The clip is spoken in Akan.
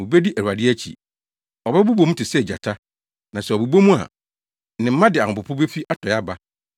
Wobedi Awurade akyi. Ɔbɛbobɔ mu te sɛ gyata. Na sɛ ɔbobɔ mu a, ne mma de ahopopo befi atɔe aba.